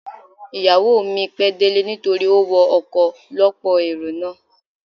Ìyàwó mi pẹ́ délé nítorí ó wọ ọkọ̀ ọ lọ́pọ̀ èrò náà.